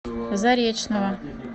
заречного